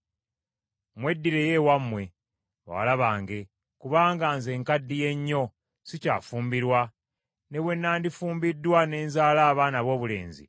Mweddireyo ewammwe, bawala bange, kubanga nze nkaddiye nnyo sikyafumbirwa. Ne bwe nnandifumbiddwa ne nzaala abaana aboobulenzi;